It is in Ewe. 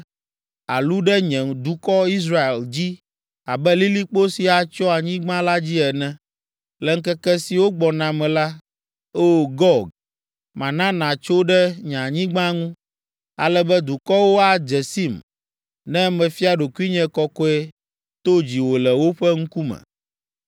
Àlu ɖe nye dukɔ, Israel, dzi abe lilikpo si atsyɔ anyigba la dzi ene. Le ŋkeke siwo gbɔna me la, O! Gog, mana nàtso ɖe nye anyigba ŋu, ale be dukɔwo adze sim ne mefia ɖokuinye kɔkɔe to dziwò le woƒe ŋkume.